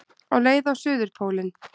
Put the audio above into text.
Á leið á suðurpólinn